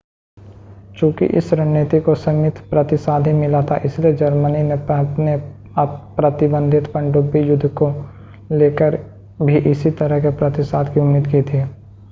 चूंकि इस रणनीति को सीमित प्रतिसाद ही मिला था इसलिए जर्मनी ने अपने अप्रतिबंधित पनडुब्बी युद्ध को लेकर भी इसी तरह के प्रतिसाद की उम्मीद की थी